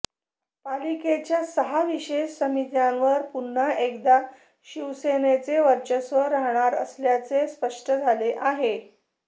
पालिकेच्या सहा विशेष समित्यांवर पुन्हा एकदा शिवसेनेचेच वर्चस्व राहणार असल्याचे स्पष्ट झाले आहे